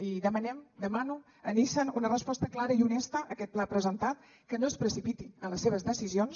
i demanem demano a nissan una resposta clara i honesta a aquest pla presentat que no es precipiti en les seves decisions